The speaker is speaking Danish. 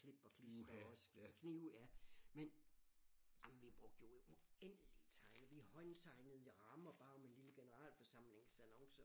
Klip og klister også og knive jamen vi brugte jo uendelig tegne vi håndtegnede i rammer bare med lille generalforsamlingsannoncer